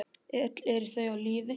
Öll eru þau á lífi.